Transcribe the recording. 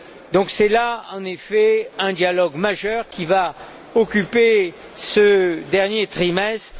Donc, c'est là, en effet, un dialogue majeur qui va occuper ce dernier trimestre.